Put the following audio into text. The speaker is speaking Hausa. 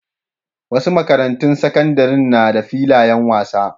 Wasu makarantun sakandaren na da filayen wasa.